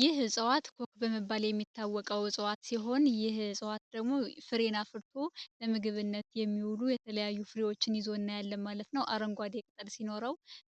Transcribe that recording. ይህ እፅዋት ኮክ በመባል የሚታወቀው እፅዋት ሲሆን ይህ እፅዋት ደግሞ ፍሬን አፍርቶ ለምግብነት የሚውሉ የተለያዩ ፍሬዎችን ይዞ እናያለን ማለት ነው። ይህ አረንጓዴ ቅጠል ሲኖረው